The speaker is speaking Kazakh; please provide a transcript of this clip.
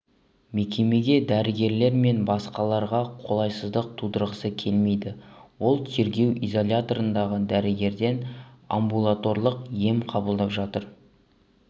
мекемеге дәрігерлер мен басқаларға қолайсыздық тудырғысы келмейді ол тергеу изоляторындағы дәрігерден амбулаторлық ем қабылдап жатыр